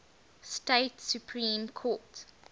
state supreme court